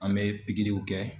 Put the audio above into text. An mɛ pikiriw kɛ.